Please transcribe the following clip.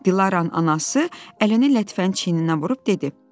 Dilaranın anası əlini Lətifənin çiyninə vurub dedi.